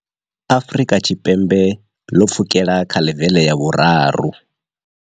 Afrika Tshipembe ḽo pfukela kha ḽevele ya vhuraru.